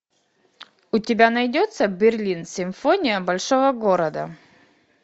у тебя найдется берлин симфония большого города